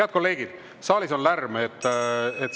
Head kolleegid, saalis on lärm.